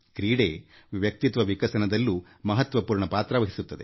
ಕ್ರೀಡೆ ವ್ಯಕ್ತಿತ್ವ ವಿಕಸನದಲ್ಲೂ ಮಹತ್ವದ ಪಾತ್ರ ವಹಿಸುತ್ತದೆ